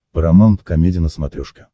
парамаунт комеди на смотрешке